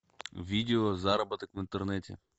видео заработок в интернете